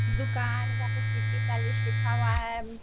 दुकान जहाँ पे सिटी पैलेस लिखा हुआ है।